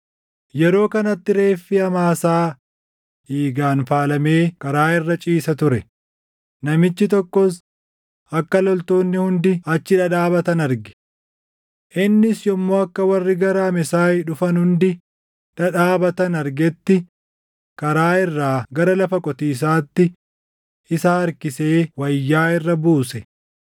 Yeroo kanatti reeffi Amaasaa dhiigaan faalamee karaa irra ciisa ture; namichi tokkos akka loltoonni hundi achi dhadhaabatan arge. Innis yommuu akka warri gara Amesaay dhufan hundi dhadhaabatan argetti karaa irraa gara lafa qotiisaatti isa harkisee wayyaa irra buuse.